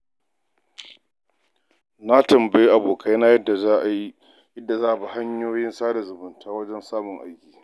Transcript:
Na tambayi abokaina yadda za'a yi, yadda za'a bi hanyoyin sada zumunta wajen samun aiki.